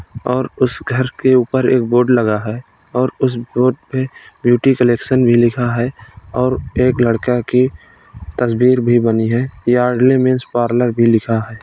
और उस घर के ऊपर एक बोर्ड लगा है और उस बोर्ड पे ब्यूटी कलेक्शन भी लिखा है और एक लड़का की तस्वीर भी बनी है। यार्डले मेंस पार्लर भी लिखा है।